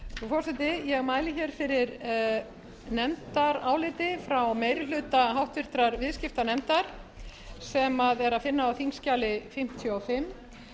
frú forseti ég mæli hér fyrir nefndaráliti frá meiri hluta háttvirtur viðskiptanefndar sem er að finna á þingskjali fimmtíu og fimm